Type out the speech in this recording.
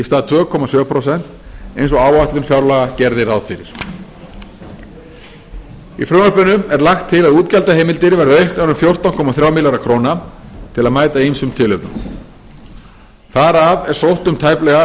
stað tvö komma sjö prósent eins og áætlun fjárlaga gerði ráð fyrir í frumvarpinu er lagt til að útgjaldaheimildir verði auknar um fjórtán komma þrjá milljarða króna til að mæta ýmsum tilefnum þar af er sótt um tæplega